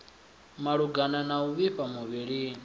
malugana na u vhifha muvhilini